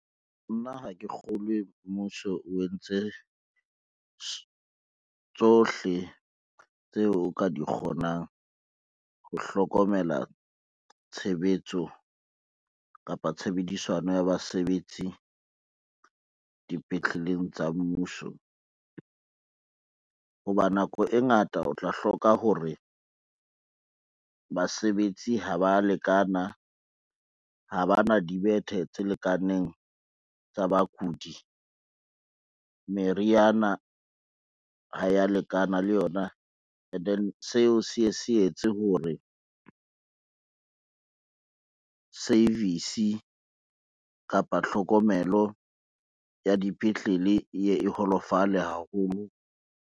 Nna ha ke kgolwe mmuso o entse tsohle tseo o ka di kgonang ho hlokomela tshebetso, kapa tshebedisano ya basebetsi dipetleleng tsa mmuso. Hoba nako e ngata o tla hloka hore basebetsi ha ba lekana, ha bana dibethe tse lekaneng tsa bakudi, meriana ha ya lekana le yona and then seo se ye se etse hore service kapa tlhokomelo ya dipetlele e ye e holofale haholo.